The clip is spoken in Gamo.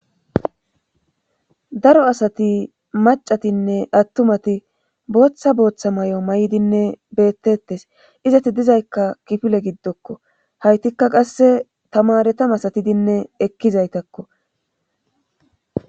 Daro asati macatinne attumati booththa booththa may'o may'dinne beettettes izati dizaykka kifile giddokko haytikka qasse tamaretam masatidinne ekkizaytakko.